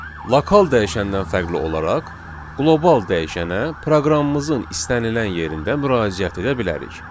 Lokal dəyişəndən fərqli olaraq qlobal dəyişənə proqramımızın istənilən yerində müraciət edə bilərik.